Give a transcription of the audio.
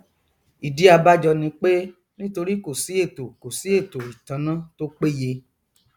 ìdí abájọ ni pé nítorí kòsí ètò kòsí ètò ìtanná tó péye